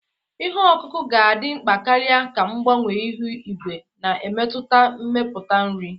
Ihe ọkụkụ ga-adị mkpa karịa ka mgbanwe ihu igwe na-emetụta mmepụta nri.